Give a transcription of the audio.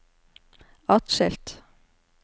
atskilt